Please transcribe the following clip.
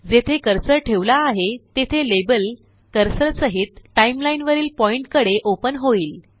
जेथे कर्सर ठेवला आहे तेथे लेबल कर्सर सहित टाइम लाईन वरील पॉइन्टकडे ओपन होईल